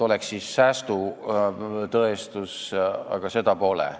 Oleks siis tõestatud, et tekib sääst, aga seda pole.